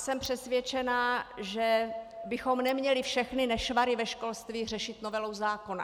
Jsem přesvědčena, že bychom neměli všechny nešvary ve školství řešit novelou zákona.